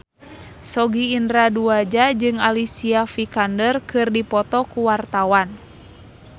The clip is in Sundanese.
Sogi Indra Duaja jeung Alicia Vikander keur dipoto ku wartawan